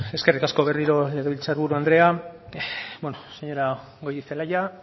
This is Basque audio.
eskerrik asko berriro legebiltzar buru anderea bueno señora goirizelaia